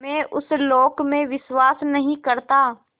मैं उस लोक में विश्वास नहीं करता